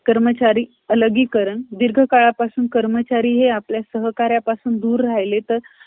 एकोणीसशे एकवीसमध्ये ते परत आले. बोस, ते जवाहरलाल नेहरू यांच्या, नेतृत्व असलेल्या गटात गेले. हा गट घटनात्मक सुधारणेसाठी कमी उत्सुक होता. आणि समाजवादासाठी अधिक खुला होता.